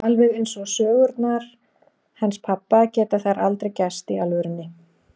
Alveg eins og sögurnar hans pabba geta þær aldrei gerst í alvörunni.